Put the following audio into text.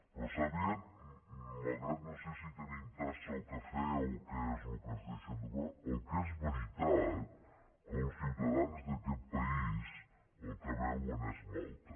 però sàpiguen malgrat que no sé si tenim tassa o cafè o què és el que ens deixen que el que és veritat que els ciutadans d’aquest país el que beuen és malta